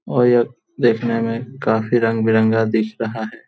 और यह देखने मे काफी रनबिरंगा दिख रहा है।